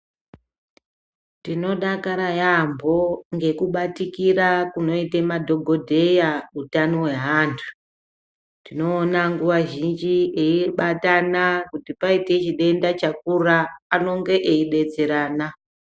Tinodakara yaambo ngekubatikira kunoite madhogodheya hutano hweantu. Tinona nguva zhinji eibatana kuti paite chidenda chakura anonge eibetserana.